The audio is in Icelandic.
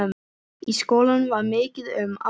Í skólanum var mikið um að vera.